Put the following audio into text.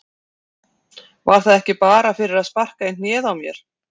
Var það ekki bara fyrir að sparka í hnéð á mér?